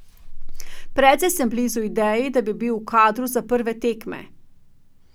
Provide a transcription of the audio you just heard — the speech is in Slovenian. Precej sem blizu ideji, da bi bil v kadru za prve tekme.